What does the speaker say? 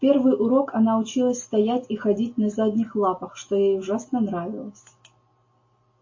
в первый урок она училась стоять и ходить на задних лапах что ей ужасно нравилось